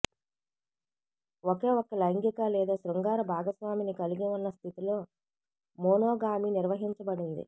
ఒకేఒక్క లైంగిక లేదా శృంగార భాగస్వామిని కలిగి ఉన్న స్థితిలో మోనోగామి నిర్వచించబడింది